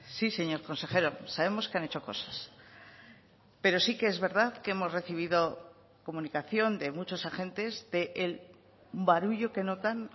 sí señor consejero sabemos que han hecho cosas pero sí que es verdad que hemos recibido comunicación de muchos agentes del barullo que notan